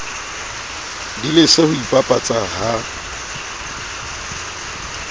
di lese ho ipapatsa ha